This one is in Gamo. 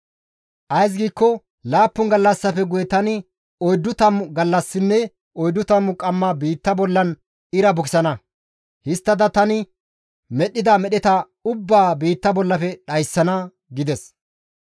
Ays giikko laappun gallassafe guye tani oyddu tammu gallassinne oyddu tammu qamma biitta bollan ira bukisana; histtada tani medhdhida medheta ubbaa biitta bollafe dhayssana» gides.